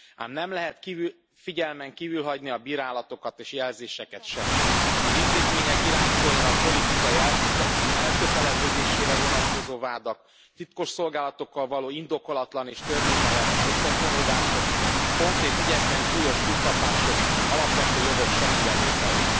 Ám nem lehet figyelmen kívül hagyni a bírálatokat és jelzéseket sem az intézmények irányítóinak politikai elköteleződésére vonatkozó vádak, titkosszolgálatokkal való indokolatlan és törvényellenes összefonódások, konkrét ügyekben súlyos túlkapások, alapvető jogok semmibevétele.